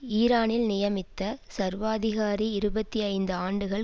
ஈரானில் நியமித்த சர்வாதிகாரி இருபத்தி ஐந்து ஆண்டுகள்